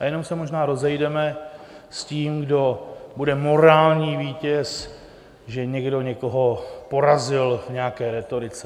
A jenom se možná rozejdeme s tím, kdo bude morální vítěz, že někdo někoho porazil v nějaké rétorice.